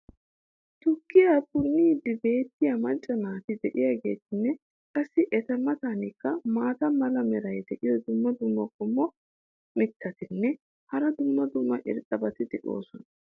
tukkiya punniidi beettiya macca naati diyaageetinne qassi eta matankka maata mala meray diyo dumma dumma qommo mitattinne hara dumma dumma irxxabati de'oosona.